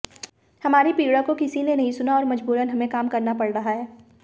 हमारी पीड़ा को किसी ने नहीं सुना और मजबूरन हमें काम करना पड़ रहा है